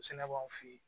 O fɛnɛ b'anw fe yen